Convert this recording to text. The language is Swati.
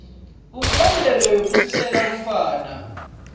umyalelo wekusiselwa umntfwana